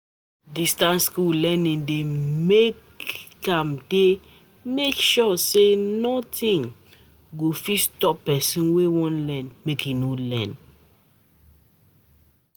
Distance um learning dey make dey make sure say nothing um go um fit stop pesin wey wan learn make e no learn.